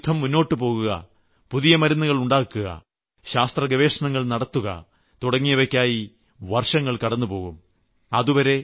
പിന്നെ ഈ യുദ്ധം മുന്നോട്ടുപോകുക പുതിയ മരുന്നുകൾ ഉണ്ടാക്കുക ശാസ്ത്രഗവേഷണങ്ങൾ നടത്തുക തുടങ്ങിയവയ്ക്കായി വർഷങ്ങൾ കടന്നുപോകും